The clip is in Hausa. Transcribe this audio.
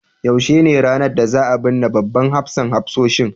yaushe ne ranar da za a binne babban hafsan hafsoshin